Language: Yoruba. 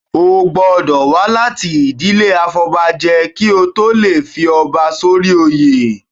O gbọ́dọ̀ wá láti ìdílé afọbajẹ kí o tó lè fi ọba sórí oyè.